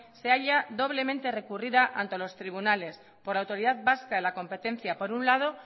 se halla doblemente recurrida ante los tribunales por la autoridad vasca de la competencia por un lado